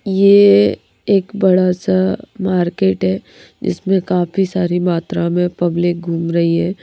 यह एक बड़ा सा मार्केट है जिसमें काफी सारी मात्रा में पब्लिक घूम रही है।